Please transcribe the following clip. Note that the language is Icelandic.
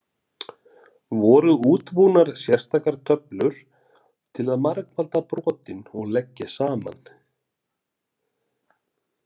Voru útbúnar sérstakar töflur til að margfalda brotin og leggja saman.